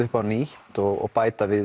upp á nýtt og bæta við